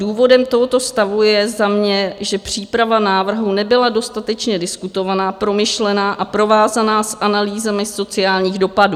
Důvodem tohoto stavu je za mě, že příprava návrhu nebyla dostatečně diskutovaná, promyšlená a provázaná s analýzami sociálních dopadů.